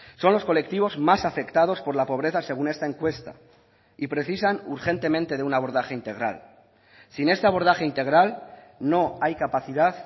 son los colectivos más afectados por la pobreza según esta encuesta y precisan urgentemente de un abordaje integral sin este abordaje integral no hay capacidad